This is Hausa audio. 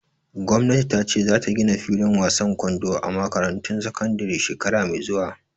Gwamnati ta ce za ta gina fillin wasan kwando a makarantun sakandare shekara mai zuwa